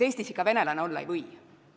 Eestis ikka venelane olla ei või.